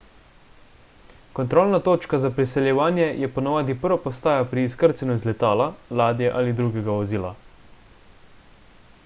kontrolna točka za priseljevanje je ponavadi prva postaja pri izkrcanju iz letala ladje ali drugega vozila